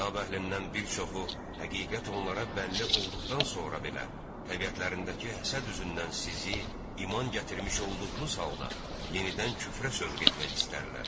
Kitab əhlindən bir çoxu, həqiqət onlara bəlli olduqdan sonra belə, təbiətlərindəki həsəd üzündən sizi iman gətirmiş olduğunuz halda yenidən küfrə sövq etmək istərlər.